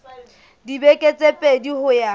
dibeke tse pedi ho ya